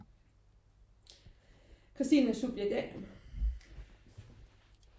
Christine subjekt A